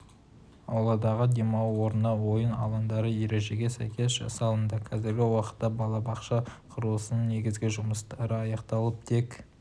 ауладағы демалу орны ойын алаңдары ережеге сәйкес жасалынды қазіргі уақытта балабақша құрылысының негізгі жұмыстары аяқталып тек